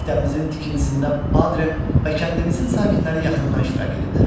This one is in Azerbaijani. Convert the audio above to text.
Məktəbimizin tikintisində Padrem və kəndimizin sakinləri yaxından iştirak ediblər.